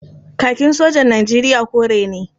Kakin sojan Nijeriya kore ne.